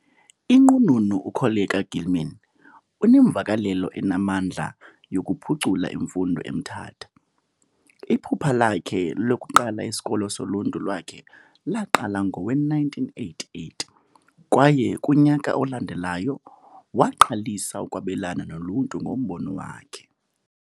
Inqununu uKoleka Gilman unemvakalelo enamandla yokuphucula imfundo eMthatha. Iphupha lakhe lokuqala isikolo soluntu lwakhe laqala ngowe-1988, kwaye kunyaka olandelayo, waqalisa ukwabelana noluntu ngombono wakhe.